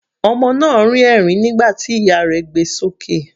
Ọmọ náà rín ẹ̀rín nígbà tí ìyá rẹ̀ gbé e sókè.